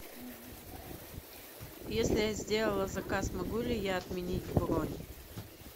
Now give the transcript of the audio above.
если я сделала заказ могу ли я отменить бронь